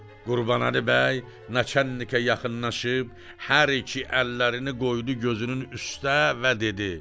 Qurbanəli bəy naçalnikə yaxınlaşıb hər iki əllərini qoydu gözünün üstə və dedi: